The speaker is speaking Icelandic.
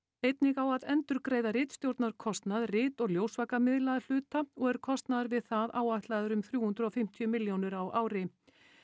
einnig á að endurgreiða ritstjórnarkostnað rit og ljósvakamiðla að hluta og er kostnaður við það áætlaður um þrjú hundruð og fimmtíu milljónir á ári